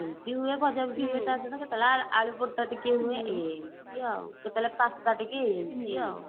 ଏମତି ଇଏ ବଜାରୁ କେତେବେଳେ ଆଳୁ ପରଠା ଟିକେ ହୁଏ ଏମତି ଆଉ କେତେବେଳେ pasta ଟିକେ ଏମତି ଆଉ